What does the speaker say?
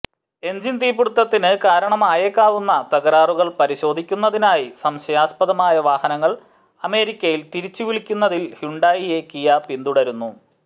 engine തീപിടുത്തത്തിന് കാരണമായേക്കാവുന്ന തകരാറുകൾ പരിശോധിക്കുന്നതിനായി സംശയാസ്പദമായ വാഹനങ്ങൾ അമേരിക്കയിൽ തിരിച്ചുവിളിക്കുന്നതിൽ ഹ്യുണ്ടായിയെ കിയ പിന്തുടരുന്നു